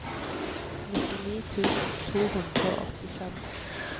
nittini tusen to hundre og åttifem